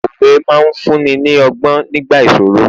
òwe ma n fún ni ni ogbon nigba ìṣòro